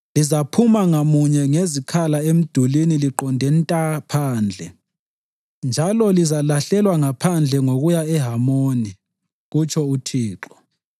Lizaphuma ngamunye ngezikhala emdulini liqonde nta phandle, njalo lizalahlelwa ngaphandle ngokuya eHamoni,” kutsho uThixo.